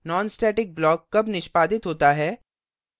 nonstatic block कब निष्पादित होता है